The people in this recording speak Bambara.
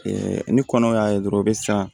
ni kɔnɔw y'a ye dɔrɔn u be siran